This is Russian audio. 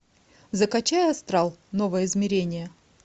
закачай астрал новое измерение